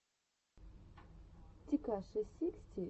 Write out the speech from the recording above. текаши сиксти найн ютьюб